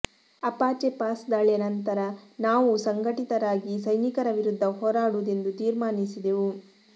Apache Pass ದಾಳಿಯ ನಂತರ ನಾವೂ ಸಂಘಟಿತರಾಗಿ ಸೈನಿಕರ ವಿರುದ್ಧ ಹೋರಾಡುವುದೆಂದು ತೀರ್ಮಾನಿಸಿದೆವು